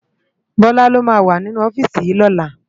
Bola ló má wá ninú òfisi yi lòlá